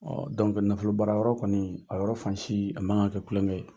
nafolobaarayɔrɔ kɔnii, a yɔrɔ fansii, a man ka kɛ kulɔŋɛ ye.